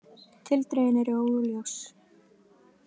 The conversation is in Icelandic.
Tildrögin eru óljós